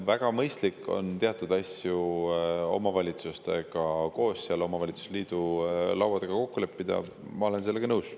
Väga mõistlik on teatud asju omavalitsustega omavalitsusliidu laua taga kokku leppida, ma olen sellega nõus.